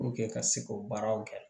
ka se k'o baaraw kɛ